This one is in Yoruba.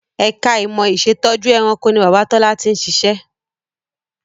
Ẹ̀ka ìmọ̀ ìṣẹ̀tọ́jú ẹranko ni Bàbá Tọ́lá ti ń ṣiṣẹ́